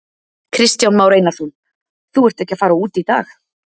Kristján Már Einarsson: Þú ert ekki að fara út í dag?